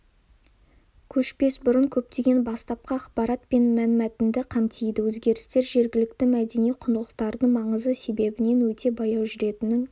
көшпес бұрын көптеген бастапқы ақпарат пен мәнмәтінді қамтиды өзгерістер жергілікті мәдени құндылықтардың маңызы себебінен өте баяу жүретінін